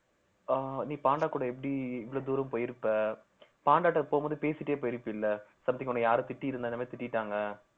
ஆஹ் நீ பாண்டா கூட எப்படி இவ்வளவு தூரம் போயிருப்ப பாண்டாட்ட போகும்போது பேசிட்டே போயிருப்பில்ல something உன்னை யாரும் திட்டியிருந்தாலுமே திட்டிட்டாங்க